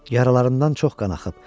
Yaralarımdan çox qan axıb.